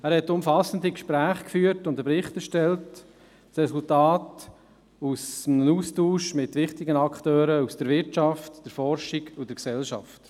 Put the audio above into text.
Er führte umfassende Gespräche und verfasste einen Bericht – das Resultat des Austauschs mit wichtigen Akteuren aus der Wirtschaft, der Forschung und der Gesellschaft.